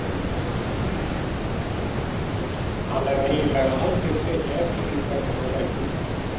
Hann hafði eiginlega aldrei tekið eftir því hvernig hún leit út.